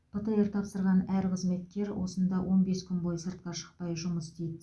птр тапсырған әр қызметкер осында он бес күн бойы сыртқа шықпай жұмыс істейді